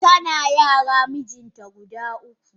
Tana yara mijinta guda uku.